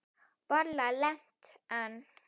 Varla lent enn.